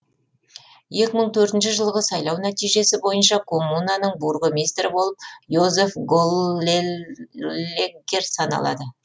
екі мың төртінші жылғы сайлау нәтижесі бойынша коммунаның бургомистрі болып йозеф леггер саналады